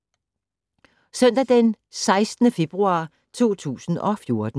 Søndag d. 16. februar 2014